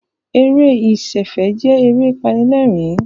Eré ìsẹ̀fẹ̀ jẹ́ eré apanilẹ́rìn-ín